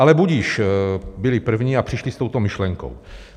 Ale budiž, byli první a přišli s touto myšlenkou.